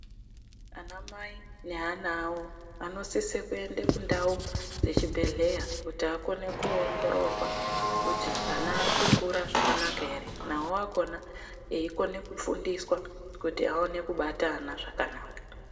Anamai neana avo vanosise kuende kundau dzechibhedhlera kuti akone koongororwa kuti ana ari kukura zvakanaka ere navo akhona akone kufundiswa kuti akone kubata ana zvakanaka.